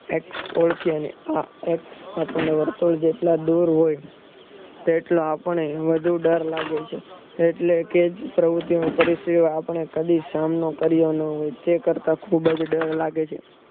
X ઓળખી અને આ x આપણને અને વર્તુળ જેટલા દોર હોય તેટલા આપણે વધુ ડર લાગે છે એટલે કે પ્ર્વુંતીઓ હું કરીશ એવું આપણે કદી સહન ન કરીએ અને તે કરતા ખુબજ ડર લાગે છે